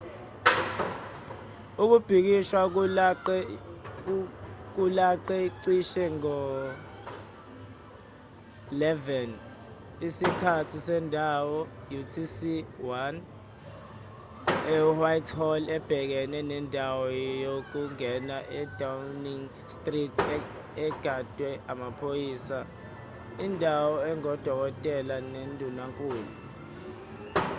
ukubhikisha kulaqe cishe ngo-11:00 isikhathi sendawo utc+1 ewhitehall ebhekene nendawo yokungena edowning street egadwe amaphoyisa indawo engokomthetho kandunankulu